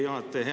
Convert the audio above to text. Hea juhataja!